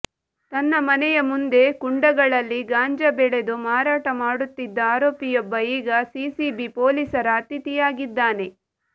ತನ್ನ ಮನೆಯ ಮುಂದೆ ಕುಂಡಗಳಲ್ಲಿ ಗಾಂಜಾ ಬೆಳೆದು ಮಾರಾಟ ಮಾಡುತ್ತಿದ್ದ ಆರೋಪಿಯೊಬ್ಬ ಈಗ ಸಿಸಿಬಿ ಪೊಲೀಸರ ಅತಿಥಿಯಾಗಿದ್ದಾನೆ